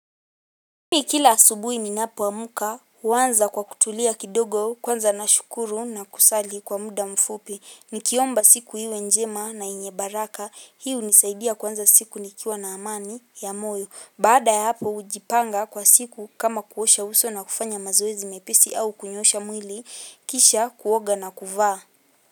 Mimi kila asubuhi ninapoamka huwanza kwa kutulia kidogo kwanza nashukuru na kusali kwa mda mfupi. Nikiomba siku iwe njema na yenye baraka. Hii unisaidia kuanza siku nikiwa na amani ya moyo. Baada ya hapo hujipanga kwa siku kama kuosha uso na kufanya mazoezi mepesi au kunyoosha mwili. Kisha kuoga na kuvaa.